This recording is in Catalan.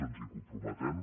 ens hi comprometem